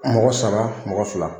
Mɔgɔ saba mɔgɔ fila